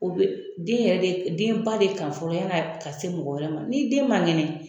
O be den yɛrɛ de denba de ka fɔlɔ yan'a ka se mɔgɔ wɛrɛ ma ni den man kɛnɛ